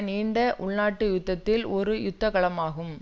நீண்ட உள் நாட்டு யுத்தத்தில் ஒரு யுத்த களமாகும்